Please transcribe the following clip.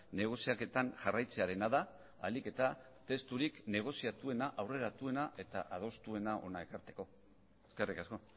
negoziaketan jarraitzearena da ahalik eta testurik negoziatuena aurreratuena eta adostuena hona ekartzeko eskerrik asko